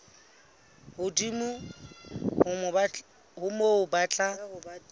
hodimo ho moo ba tla